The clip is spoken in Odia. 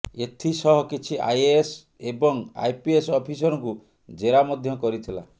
ଏଥିସହ କିଛି ଆଇଏଏସ୍ ଏବଂ ଆଇପିଏସ୍ ଅଫିସରଙ୍କୁ ଜେରା ମଧ୍ୟ କରିଥିଲା